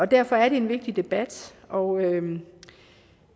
derfor er det en vigtig debat og